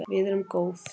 Við erum góð